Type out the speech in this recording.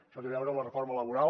això té a veure amb la reforma laboral